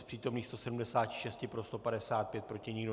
Z přítomných 176 pro 155, proti nikdo.